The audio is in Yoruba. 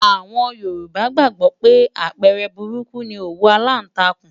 Àwọn Yorùbá gbàgbó pé àpẹẹrẹ burúkú ni òwú aláǹtakùn.